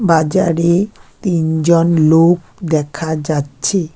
বাজারে তিনজন লোক দেখা যাচ্ছে।